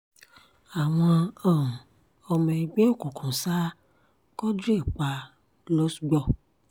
àwọn um ọmọ ẹgbẹ́ òkùnkùn sá quadri pa lọ́sgbọ̀